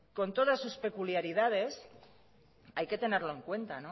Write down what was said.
con todas sus peculiaridades hay que tenerlo en cuenta